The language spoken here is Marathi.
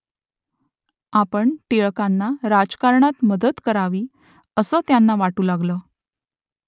आपण टिळकांना राजकारणात मदत करावी असं त्यांना वाटू लागलं